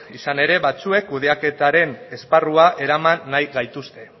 izan ere batzuek kudeaketaren esparrura eraman nahi gaituzte